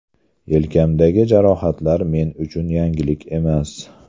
Yelkamdagi jarohatlar men uchun yangilik emas.